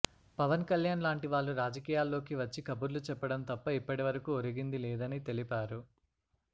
పవన్ కళ్యాణ్ లాంటి వాళ్ళు రాజకీయాల్లోకి వచ్చి కబుర్లు చెప్పడం తప్ప ఇప్పటి వరకూ ఒరిగింది లేదని తెలిపారు